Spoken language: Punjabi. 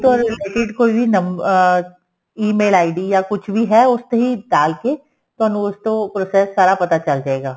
ਤੁਹਾਨੂੰ ਕੋਈ number ਅਹ EMAIL ID ਜਾਂ ਕੁੱਝ ਵੀ ਹੈ ਉਸ ਤੇ ਹੀ ਡਾਲ ਕੇ ਤੁਹਾਨੂੰ ਉਸ ਤੋਂ process ਸਾਰਾ ਪਤਾ ਚੱਲਜੇਗਾ